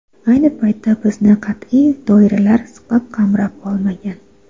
Ayni paytda bizni qat’iy doiralar siqib, qamrab olmagan.